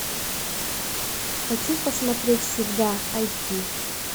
хочу посмотреть всегда айч ди